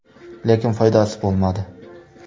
Lekin foydasi bo‘lmadi.